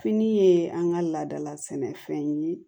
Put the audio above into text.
Fini ye an ka laadala sɛnɛfɛn ye